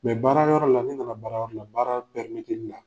baara yɔrɔ la n'i nana baara yɔrɔ la , baara yɔrɔ la